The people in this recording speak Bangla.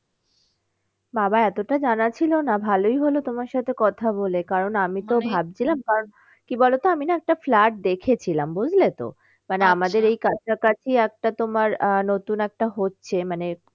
বাবা এতটা জানা ছিল না ভালোই হলো তোমার সাথে কথা বলে কারণ আমি ভাবছিলাম কারণ কি বলো তো আমি না একটা flat দেখেছিলাম বুঝলে তো। এই কাছাকাছি একটা তোমার আহ নতুন একটা হচ্ছে মানে